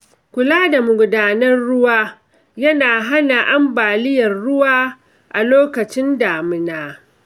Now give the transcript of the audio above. Kula da magudanan ruwa yana hana ambaliyar ruwa a lokacin damuna.